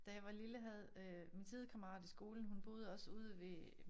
Da jeg var lille havde øh min sidekammerat i skolen hun boede også ude ved